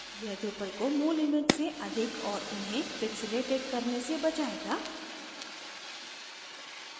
यह drupal को मूल image से अधिक और उन्हें pixilated करने से बचायेगा